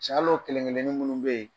Ca al'o kelen kelen minnu bɛ yen